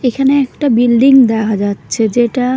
এখানে একটা বিল্ডিং দেখা যাচ্ছে যেটা--